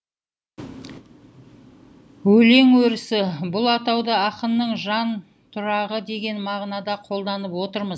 өлең өрісі бұл атауды ақынның жантұрағы деген мағынада қолданып отырмыз